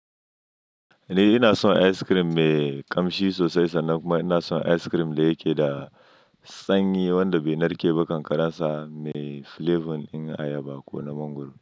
Eh ina son ice cream mai kamshi sosai, sannan kuma ina son ice cream da yake da sanyi wanda bai narke ba, ƙanƙarar sa mai flavor in ayaba ko na mangwaro.